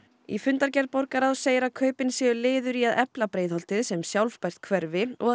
í fundargerð borgarráðs segir að kaupin séu liður í því að efla Breiðholtið sem sjálfbært hverfi og